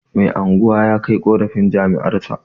Mai unguwa ya kai ƙorafin jama'arsa